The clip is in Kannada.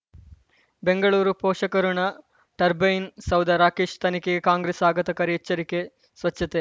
ಬೆಂಗಳೂರು ಪೋಷಕಋಣ ಟರ್ಬೈನು ಸೌಧ ರಾಕೇಶ್ ತನಿಖೆಗೆ ಕಾಂಗ್ರೆಸ್ ಆಘಾತಕಾರಿ ಎಚ್ಚರಿಕೆ ಸ್ವಚ್ಛತೆ